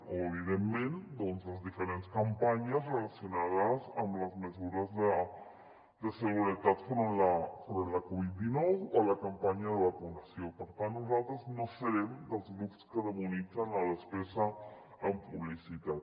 o evidentment doncs les dife·rents campanyes relacionades amb les mesures de seguretat enfront de la covid·dinou o la campanya de vacunació per tant nosaltres no serem dels grups que demonit·zen la despesa en publicitat